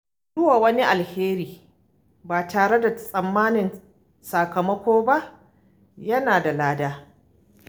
Yi wa wani alheri ba tare da tsammanin sakamako ba yana da lada.